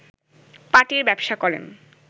পাটির ব্যবসা করেন